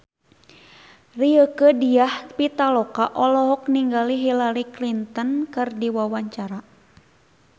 Rieke Diah Pitaloka olohok ningali Hillary Clinton keur diwawancara